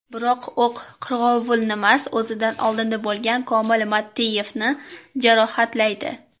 Biroq, o‘q qirg‘ovulnimas, o‘zidan oldinda bo‘lgan Komil Mattiyevni jarohatlaydi.